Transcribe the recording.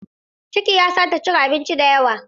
Ciki ya sa ta cin abinci da yawa.